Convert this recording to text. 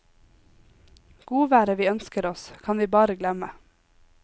Godværet vi ønsker oss, kan vi bare glemme.